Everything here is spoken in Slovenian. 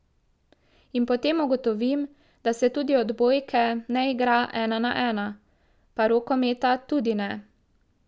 In potem ugotovim, da se tudi odbojke ne igra ena na ena, pa rokometa tudi ne.